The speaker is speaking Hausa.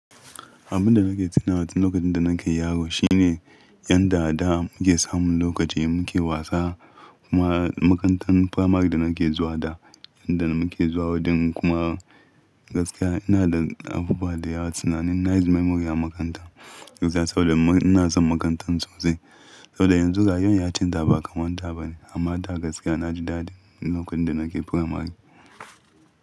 Abin da nake tuna wani lokacin da nake yaro shine yanda da muke samun lokaci muke wasa kuma makarantar Famak da nake zuwa da yadda muke zuwa wurin kuma gaskiya ina da afuwa da ya sanani. Nice memory a makaranta gaskiya saboda ina son makarantar sosai. Saboda yanzu gayun ya canza ba kamar da ba ne amma da gaskiya na ji daɗi lokacin da nake Famak.